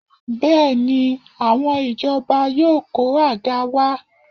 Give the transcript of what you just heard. Bẹ́ẹ̀ni, àwọn ìjọba yóò kó àga wá